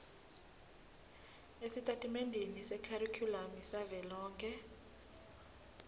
esitatimendeni sekharikhulamu savelonkhe